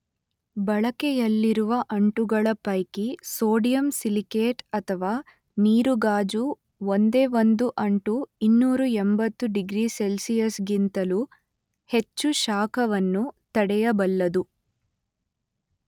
ಬಳಕೆಯಲ್ಲಿರುವ ಅಂಟುಗಳ ಪೈಕಿ ಸೋಡಿಯಂ ಸಿಲಿಕೇಟ್ ಅಥವಾ ನೀರುಗಾಜು ಒಂದೇ ಒಂದು ಅಂಟು ಇನ್ನೂರ ಎಂಬತ್ತು ಡಿಗ್ರಿ ಸೆಲ್ಸಿಯಸ್ ಗಿಂತಲೂ ಹೆಚ್ಚು ಶಾಖವನ್ನು ತಡೆಯಬಲ್ಲದು.